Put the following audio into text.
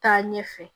Taa ɲɛfɛ